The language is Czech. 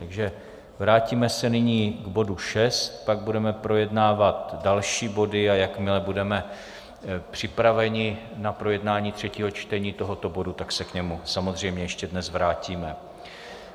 Takže vrátíme se nyní k bodu 6, pak budeme projednávat další body, a jakmile budeme připraveni na projednání třetího čtení tohoto bodu, tak se k němu samozřejmě ještě dnes vrátíme.